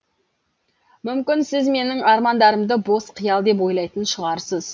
мүмкін сіз менің армандарымды бос қиял деп ойлайтын шығарсыз